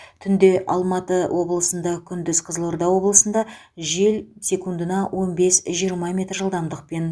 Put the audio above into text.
түнде алматы облысында күндіз қызылорда облысында жел секундына он бес жиырма метр жылдамдықпен